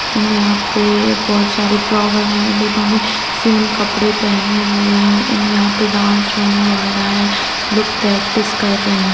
यहाँ पे बहुत सारे फ्लावर हैं एंड उन्होंने सेम कपड़े पहेने हुए हैं एंड यहाँ पे डांस होने वाला है लोग प्रैक्टिस कर रहे हैं।